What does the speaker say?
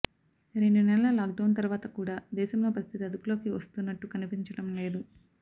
రెండు నెలల lockdown తర్వాత కూడా దేశంలో పరిస్థితి అదుపులోకి వస్తున్నట్టు కనిపించడం లేదు